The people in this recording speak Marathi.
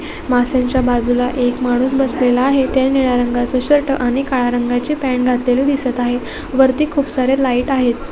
मासांच्या बाज़ूला एक माणूस बसलेला आहे त्या निळा रंगाचा शर्ट आणि काळा रंगाची पॅन्ट घातलेली दिसत आहे वरती खूप सार्‍या लाइट आहेत.